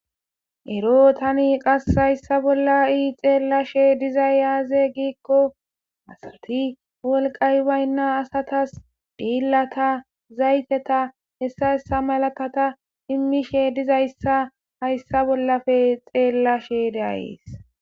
Ero tani qas hayssa bolla ii xeellashe dizay yaaze giikko asati wolqay waynna asatas diillata zayteta hessa hessa malatata immishe dizayssa hayssa bollafe xeellashe daayees.